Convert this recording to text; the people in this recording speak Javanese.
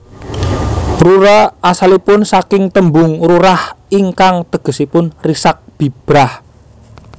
Rura asalipun saking tembung rurah ingkang tegesipun risak bibrah